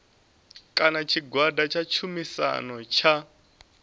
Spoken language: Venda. kana tshigwada tsha tshumisano tsha